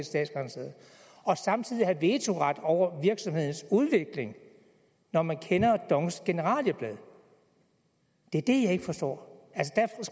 statsgaranteret og samtidig have vetoret over virksomhedens udvikling når man kender dongs generalieblad forstår